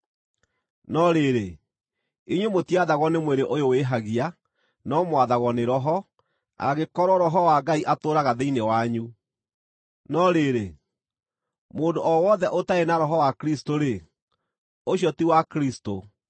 No rĩrĩ, inyuĩ mũtiathagwo nĩ mwĩrĩ ũyũ wĩhagia, no mwathagwo nĩ Roho, angĩkorwo Roho wa Ngai atũũraga thĩinĩ wanyu. No rĩrĩ, mũndũ o wothe ũtarĩ na Roho wa Kristũ-rĩ, ũcio ti wa Kristũ.